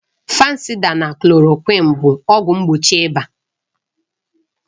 Fansida na klòròkwịn bụ ọgwụ mgbochi ịba